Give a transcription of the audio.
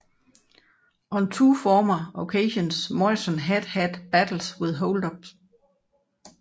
On two former occasions Morrison had had battles with holdups